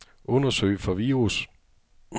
Undersøg for virus.